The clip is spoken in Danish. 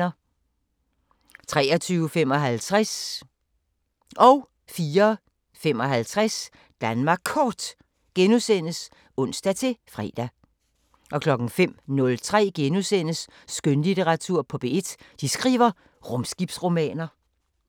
23:55: Danmark Kort *(ons-fre) 04:55: Danmark Kort *(ons-fre) 05:03: Skønlitteratur på P1: De skriver rumskibsromaner *